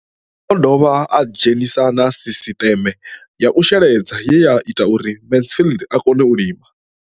O ḓo dovha a dzhenisa na sisiṱeme ya u sheledza ye ya ita uri Mansfied a kone u lima.